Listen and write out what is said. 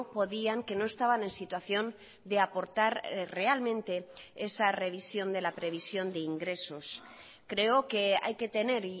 podían que no estaban en situación de aportar realmente esa revisión de la previsión de ingresos creo que hay que tener